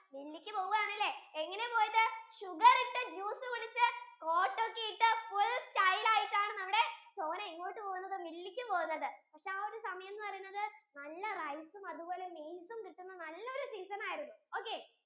മില്ലിലേക്കു പോകുവാണല്ലേ എങ്ങനെയാ പോയതു sugar ഇട്ട juice കുടിച്ചു coat ഒക്കെ full style ആയിട്ടാണ് നമ്മുടെ sona എങ്ങോട്ടാ പോകുന്നത് മില്ലിലേക്കു പോകുന്നത് ആ ഒരു സമയം എന്ന് പറയുന്നത് നല്ല rice ഉം അതുപോലെ maize ഉം കിട്ടുന്ന നല്ല ഒരു season ആയിരുന്നു